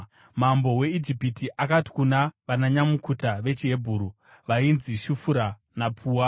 Mambo weIjipiti akati kuna vananyamukuta vechiHebheru vainzi Shifura naPua,